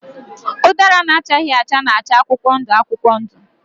Ụdara na-achaghị acha na-acha akwụkwọ ndụ akwụkwọ ndụ.